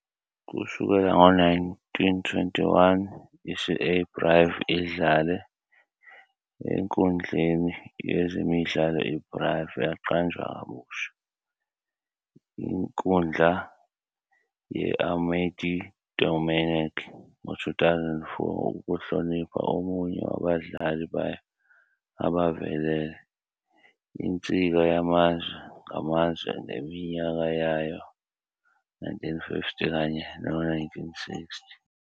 Kusukela ngo-1921, i-CA Brive idlale enkundleni yezemidlalo iBrive, yaqanjwa kabusha inkundla ye-Amédée-Domenech ngo-2004 ukuhlonipha omunye wabadlali bayo abavelele, insika yamazwe ngamazwe ngeminyaka yawo-1950 kanye nawo-1960.